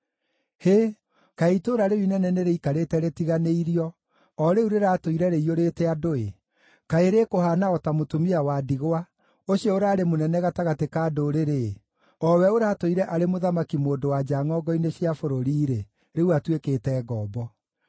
Hĩ! Kaĩ itũũra rĩu inene nĩrĩikarĩte rĩtiganĩirio, o rĩu rĩratũire rĩiyũrĩte andũ-ĩ! Kaĩ rĩĩkũhaana o ta mũtumia wa ndigwa, ũcio ũraarĩ mũnene gatagatĩ ka ndũrĩrĩ-ĩ! O we ũratũire arĩ mũthamaki-mũndũ-wa-nja ngʼongo-inĩ cia bũrũri-rĩ, rĩu atuĩkĩte ngombo.